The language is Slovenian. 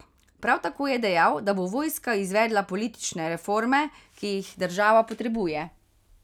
Prav tako je dejal, da bo vojska izvedla politične reforme, ki jih država potrebuje.